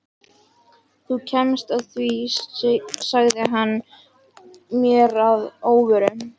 Þú kemst að því sagði hann mér að óvörum.